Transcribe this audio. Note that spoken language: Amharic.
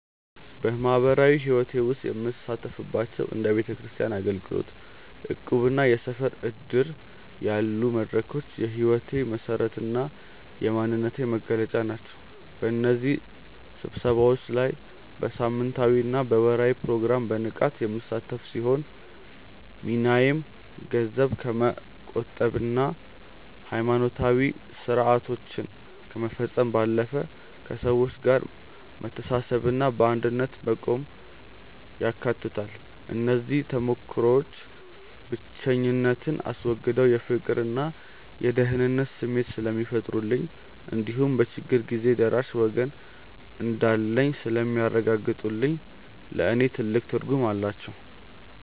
በማኅበራዊ ሕይወቴ ውስጥ የምሳተፍባቸው እንደ ቤተክርስቲያን አገልግሎት፣ እቁብና የሰፈር ዕድር ያሉ መድረኮች የሕይወቴ መሠረትና የማንነቴ መገለጫ ናቸው። በእነዚህ ስብሰባዎች ላይ በሳምንታዊና በወርኃዊ ፕሮግራም በንቃት የምሳተፍ ሲሆን፣ ሚናዬም ገንዘብ ከመቆጠብና ሃይማኖታዊ ሥርዓቶችን ከመፈጸም ባለፈ፣ ከሰዎች ጋር መተሳሰብንና በአንድነት መቆምን ያካትታል። እነዚህ ተሞክሮዎች ብቸኝነትን አስወግደው የፍቅርና የደህንነት ስሜት ስለሚፈጥሩልኝ እንዲሁም በችግር ጊዜ ደራሽ ወገን እንዳለኝ ስለሚያረጋግጡልኝ ለእኔ ትልቅ ትርጉም አላቸው።